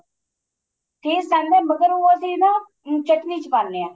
taste ਆਂਦਾ ਅਗਰ ਉਹ ਅਸੀਂ ਨਾ ਚਟਣੀ ਚ ਪਾਨੇ ਆ